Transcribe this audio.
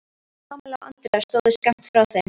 Kamilla og Andrea stóðu skammt frá þeim.